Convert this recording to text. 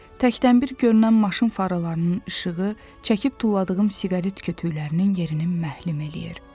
Təkdən bir görünən maşın faralarının işığı çəkib tulladığım siqaret kötüyklərinin yerini məhlüm eləyir.